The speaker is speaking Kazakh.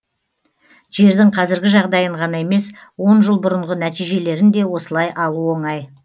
жердің қазіргі жағдайын ғана емес он жыл бұрынғы нәтижелерін де осылай алу оңай